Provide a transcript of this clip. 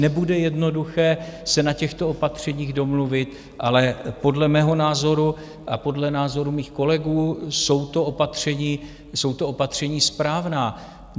Nebude jednoduché se na těchto opatřeních domluvit, ale podle mého názoru a podle názoru mých kolegů jsou to opatření správná.